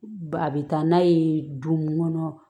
Ba a bɛ taa n'a ye du mun kɔnɔ